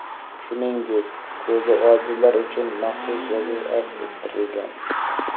Shuningdek, ko‘zi ojizlar uchun maxsus yozuv aks ettirilgan.